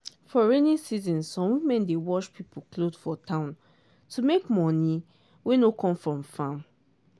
for rainy season some women dey wash pipo cloth for town to make money wey no come from farm.